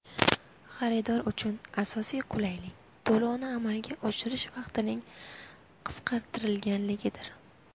Xaridor uchun asosiy qulaylik to‘lovni amalga oshirish vaqtining qisqartirilganligidir.